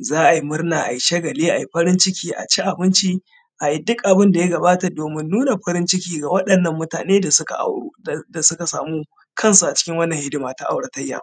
Za a yi murna a ayi Shagalin, ayi farin ciki a ci abinci, ayi duk kanin abun da yakamata domin nuna farin ciki ga wa’yannan mutane da suka auru da suka samu kansu a cikin wannan hidima ta auratayya.